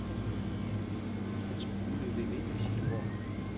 Han smuglede den ind i sit hår.